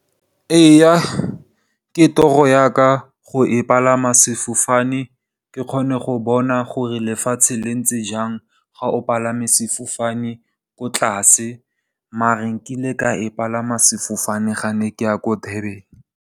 Ee ke toro ya ka go palama sefofane, ke kgone go bona gore lefatshe le ntse jang ga o palame sefofane ko tlase. Maar nkile ka se palama sefofane ga ne ke ya ko Durban.